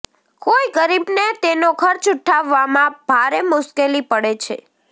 કોઈ ગરીબને તેનો ખર્ચ ઉઠાવવામાં ભારે મુશ્કેલી પડે છે